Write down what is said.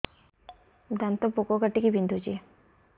ଦାନ୍ତ ପୋକ କାଟିକି ବିନ୍ଧୁଛି